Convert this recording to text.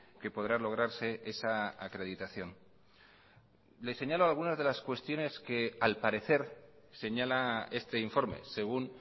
que podrá lograrse esa acreditación le señalo algunas de las cuestiones que al parecer señala este informe según